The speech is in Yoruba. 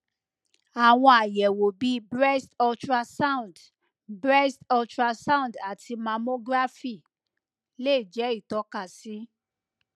àwọn àyẹwò bí breast ultrasound breast ultrasound àti mammography lè jẹ ìtókasí